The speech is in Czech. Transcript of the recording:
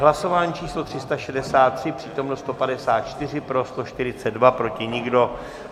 Hlasování číslo 363, přítomno 154, pro 142, proti nikdo.